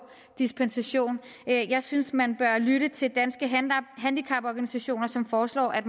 dispensation jeg synes man bør lytte til danske handicaporganisationer som foreslår at